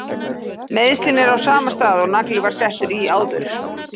Meiðslin eru á sama stað og nagli var settur í áður.